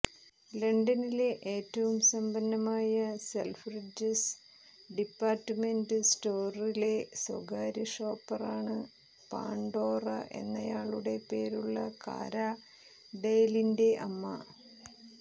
ലണ്ടനിലെ ഏറ്റവും സമ്പന്നമായ സെൽഫ്രിഡ്ജസ് ഡിപ്പാർട്ട്മെന്റ് സ്റ്റോറിലെ സ്വകാര്യ ഷോപ്പറാണ് പാണ്ഡോറ എന്നയാളുടെ പേരുള്ള കാര ഡെയിലിൻറെ അമ്മ